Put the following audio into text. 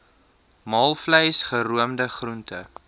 maalvleis geroomde groente